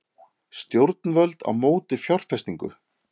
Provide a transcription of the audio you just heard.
Stjórnvöld á móti fjárfestingu